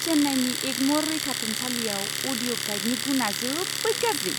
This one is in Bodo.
चेन्नाईनि एगम'र रैखाथुमसालियाव अडिअ' गाइदनि गुनआ जोबोद गाज्रि!